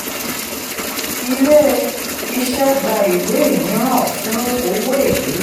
ilé-iṣẹ́ gba ìwé mìíràn fún owó èlé.